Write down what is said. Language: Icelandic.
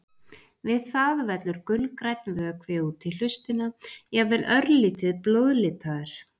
Við það vellur gulgrænn vökvi út í hlustina, jafnvel örlítið blóðlitaður.